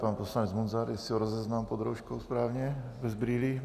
Pan poslanec Munzar, jestli ho rozeznám pod rouškou správně, bez brýlí.